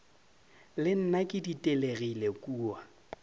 le nna ke ditelegile kua